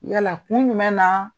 Yala kun jumɛn na